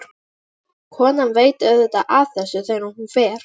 Konan veit auðvitað af þessu þegar hún fer.